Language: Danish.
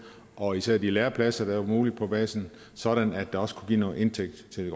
og især de lærepladser være muligt på basen sådan at det også kunne give noget indtægt til det